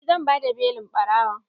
Eh zan bada belin ɓarawon.